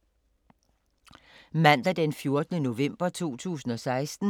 Mandag d. 14. november 2016